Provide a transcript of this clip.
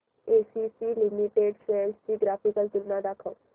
ACC limited shares ची graphical तुलना दाखव